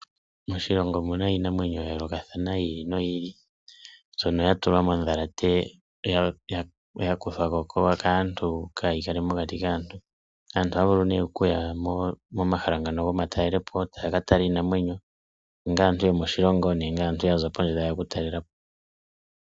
Moshilongo omuna iinamwenyo yayoolokathana yi ili noyi ili, mbyono yatulwa mondhalate, ya topolwako kaantu, opo kaayi kale mokati kaantu. Aantu ohaya vulu ne okuya momahala ngano gomatalelopo taya ka tala iinamwenyo. Aantu ohaya vulu okukala yomoshilongo nenge aantu yokondje yoshilongo.